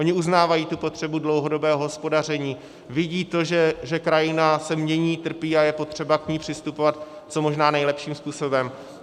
Oni uznávají tu potřebu dlouhodobého hospodaření, vidí to, že krajina se mění, trpí a je potřeba k ní přistupovat co možná nejlepším způsobem.